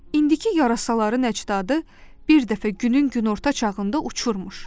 İndiki yarasaların əcdadı bir dəfə günün günorta çağında uçurmuş.